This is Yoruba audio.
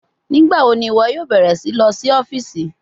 Nigbawo ni iwọ yoo bẹrẹ si lọ si ọfiisi?